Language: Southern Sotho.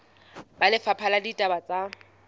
ba lefapha la ditaba tsa